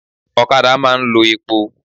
Ọ̀kadà máa ń lo epo.